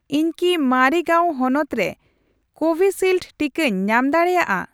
ᱤᱧ ᱠᱤ ᱢᱟᱨᱤᱜᱟᱹᱣᱩᱱ ᱦᱚᱱᱚᱛ ᱨᱮ ᱠᱳᱵᱷᱤᱥᱤᱞᱰ ᱴᱤᱠᱟᱹᱧ ᱧᱟᱢ ᱫᱟᱲᱮᱭᱟᱜᱼᱟ ᱾